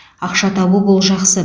ақша табу бұл жақсы